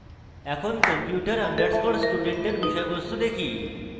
এখন computer underscore student এর বিষয়বস্তু দেখি